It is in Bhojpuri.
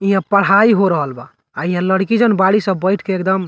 इहाँ पढ़ाई हो रहल बा इहाँ लड़की जोवन बाड़ी सन बइठ के एकदम --